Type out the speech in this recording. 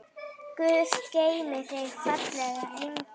Guð geymi þig, fallegi engill.